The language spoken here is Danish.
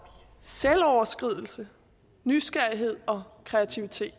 selvoverskridelse nysgerrighed og kreativitet